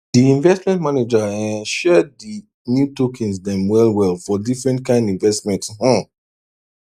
di investment manager um share di new tokens dem well well for different kind investment um